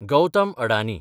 Gautam Adani